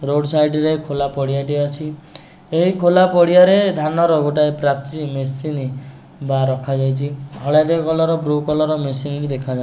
Road side ରେ ଖୋଲା ପଡ଼ିଆଟିଏ ଅଛି। ଏହି ଖୋଲା ପଡ଼ିଆରେ ଧାନର ଗୋଟାଏ ପ୍ରାଚୀ ମେସିନି ବା ରଖାଯାଇଚି। ହଳଦିଆ କଲର ବ୍ଲୁ କଲର ମେସିନି ଦେଖାଯା --